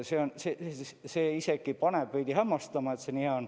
See isegi paneb veidi hämmastama, et see nii hea on.